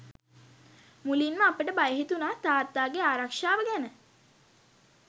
මුලින්ම අපට බය හිතුනා තාත්තාගේ ආරක්‍ෂාව ගැන.